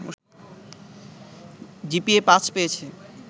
GPA ৫ পেয়েছে